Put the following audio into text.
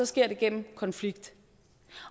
sker det gennem konflikt